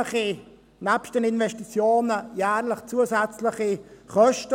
Neben den Investitionen gibt es jährlich zusätzliche Kosten.